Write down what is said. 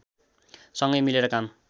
सँगै मिलेर काम